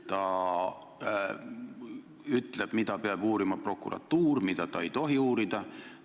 Ta ütleb, mida prokuratuur peab uurima ja mida ta ei tohi uurida.